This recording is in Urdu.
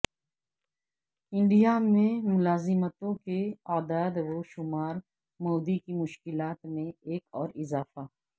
انڈیا میں ملازمتوں کے اعداد و شمار مودی کی مشکلات میں ایک اور اضافہ